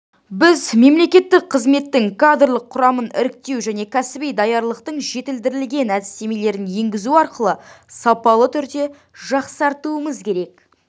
біз мемлекеттік қызметтің кадрлық құрамын іріктеу және кәсіби даярлықтың жетілдірілген әдістемелерін енгізу арқылы сапалы түрде жақсартуымыз керек